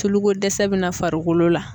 Tuluko dɛsɛ bɛ na farikolo la.